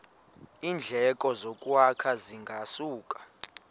iindleko zokwakha zingasuka